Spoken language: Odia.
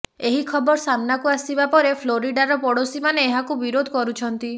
ଏହି ଖବର ସାମ୍ନାକୁ ଆସିବା ପରେ ଫ୍ଲୋରିଡାର ପଡ଼ୋଶୀମାନେ ଏହାକୁ ବିରୋଧ କରୁଛନ୍ତି